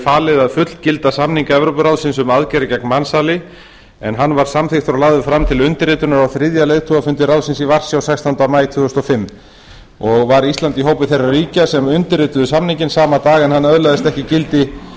falið að fullgilda samning evrópuráðsins um aðgerðir gegn mansali en hann var samþykktur og lagður fram til undirritunar á þriðja leiðtogafundi ráðsins í varsjá sextánda maí tvö þúsund og fimm ísland var í hópi þeirra ríkja sem undirrituðu samninginn sama dag en hann öðlast ekki gildi